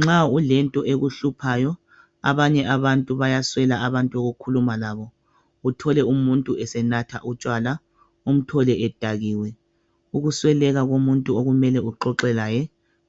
Nxa ulento ekuhkuphayo abanye abantu bayaswela abantu bokukhuluma labo uthole umuntu esenatha utshwala umthole edakiwe ukusweleka komuntu okumele uxoxe laye